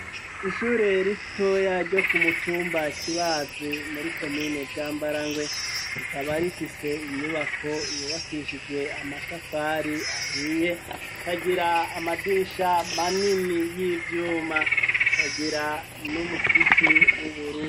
Ishure ritoya ryo ku mutumba kibazi muri komine bwambarangwe rikaba rifise inyubako yubakishijwe amatafari ahiye kagira amadisha manini y'ivyuma, kagira n'umusipi w'ubururu.